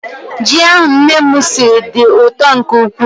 Ji ahụ nne m siri dị ụtọ nke ukwuu.